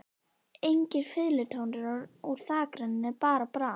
Engir fiðlutónar úr þakrennunni, bara brak.